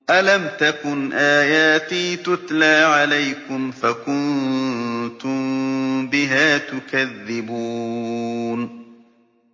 أَلَمْ تَكُنْ آيَاتِي تُتْلَىٰ عَلَيْكُمْ فَكُنتُم بِهَا تُكَذِّبُونَ